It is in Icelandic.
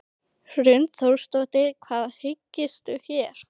Hrund Þórsdóttir: Hvað hyggstu gera?